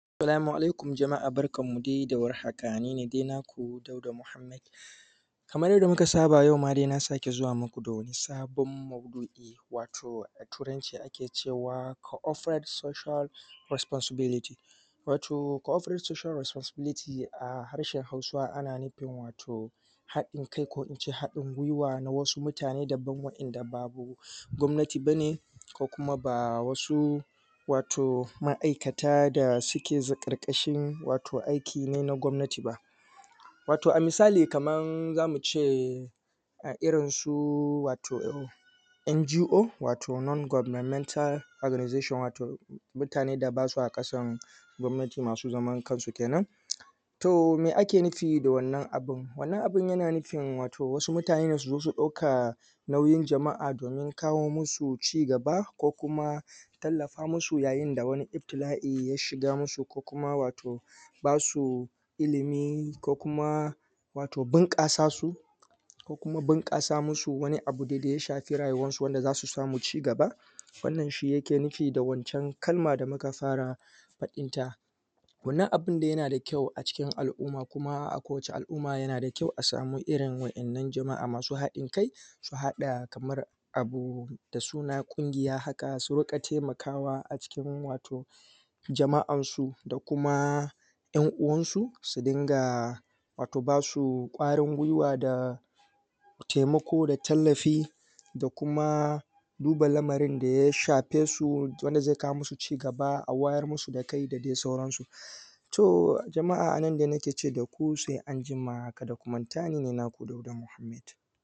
Salamu alaikum jamaa barkanmu da warhaka. Nine dai naku Dauda Mohammed kaman yadda dai muka saba yau ma dai na sake zuwa muku da wani sabon maudu’i wato a Turanci ake cewa Cooperate Social Responsibility wato Cooperate social responsibility a harshen Hausa ana nufin wato Haɗin kai ko ince haɗin gwiwa na wasu mutane daban waɗanda ba [um]gwamnati ba ne ko kuma ba wasu wato ma’aikata da suke ƙarƙashin wato aiki ne na gwamnati ba wato a misali kaman za mu ce irinsu wato NGO wato non governmental organizations wato mutanen da basa kasan gwamnati, masu zaman kansu kenan. Toh me ake nufi da wannan abun? Wannan abun yana nufin wato wasu mutane ne su zo su ɗauka nauyin jama’a domin kawo musu cigaba, ko kuma tallafa musu lokacin da iftila’i ya shigan musu ko kuma wato basu ilimi ko kuma bunƙasa su, ko kuma bunƙasa musu wani abu dadai ya shafi rayuwansu wanda zai kawo musu cigaba. Wannan shi ake nufi da wancan kalman da muka fara faɗin ta, wannan abun dai yana da kyau a cikin al’umma kuma a kowace al'umma yana da kyau a samu irin wannan jama’a masu haɗin kai su haɗa kamar abu da suna ƙungiya haka su riƙa taimakawa wasu a cikin wato jama’an su da kuma ‘yan uwan su, su rinƙa ba su kwarin gwiwa da taimako da tallafi da kuma duba lamarin da ya shafe su wanda zai kawo musu cigaba, a wayar musu da kai da dai sauran su. Toh, jama’a a nan dai nike ce daku sai anjima, kuma kada ku manta ni ne naku Dauda Mohammed.